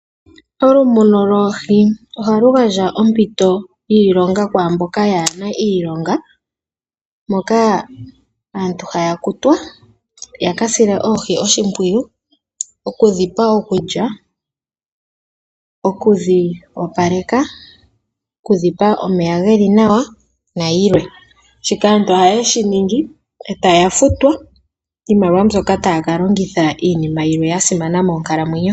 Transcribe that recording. Okumuna oohi ohaku gandja ompito yiilonga kwaa mboka kaye na iilonga, moka aantu haya kutwa ya ka sile oohi oshimpwiyu; okudhi pa okulya, okudhi opaleka, okudhi pa omeya ge li nawa nayilwe. Shika aantu ohaye shi ningi e taya futwa iimaliwa mbyoka taya ka longitha iinima yilwe ya simana moonkalamwenyo.